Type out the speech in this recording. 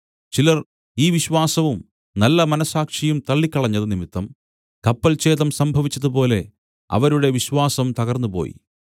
ചിലർ ഈ വിശ്വാസവും നല്ല മനസ്സാക്ഷിയും തള്ളിക്കളഞ്ഞതു നിമിത്തം കപ്പൽഛേതം സംഭവിച്ചതുപോലെ അവരുടെ വിശ്വാസം തകർന്നുപോയി